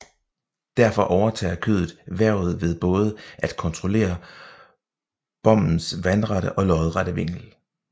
Derfor overtager skødet hvervet ved både at kontrollere bommens vandrette og lodrette vinkel